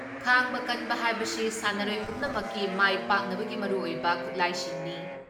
ꯈꯥꯡꯕ ꯀꯟꯕ ꯍꯥꯏꯕꯁꯤ ꯁꯥꯟꯅꯔꯣꯏ ꯄꯨꯝꯟꯃꯛꯀꯤ ꯃꯥꯏ ꯄꯥꯛꯅꯕꯒꯤ ꯃꯔꯨꯑꯣꯏꯕ ꯈꯨꯠꯂꯥꯏꯁꯤꯡꯅꯤ ꯫